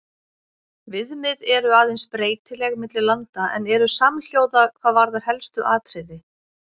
Viðmið eru aðeins breytileg milli landa en eru samhljóða hvað varðar helstu atriði.